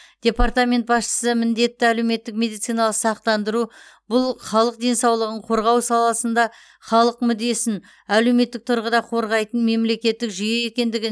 департамент басшысы міндетті әлеуметтік медициналық сақтандыру бұл халық денсаулығын қорғау саласында халық мүддесін әлеуметтік тұрғыда қорғайтын мемлекеттік жүйе екендігін